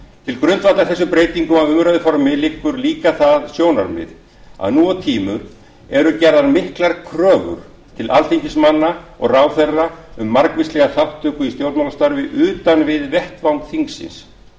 til grundvallar þessum breytingum á umræðuformi liggur líka það sjónarmið að nú á tímum eru gerðar miklar kröfur til alþingismanna og ráðherra um margvíslega þátttöku í stjórnmálastarfi utan við vettvang þingsins